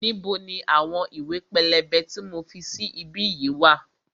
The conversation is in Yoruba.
Níbo ni àwọn ìwé pélébé tí mo fi sí bí yìí wá?